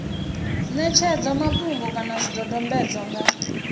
ṋetshedzwa mafhungo kana zwidodombedzwa nga